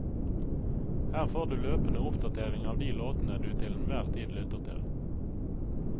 Her får du løpende oppdatering av de låtene du til en hver tid lytter til.